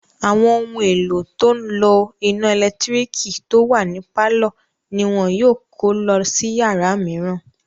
Àwọn ohun èlò tó n lo iná ẹ̀lẹ́tírík tó wà ní pálọ̀ ní wọn yóò kó lọ sí yàrá mìíràn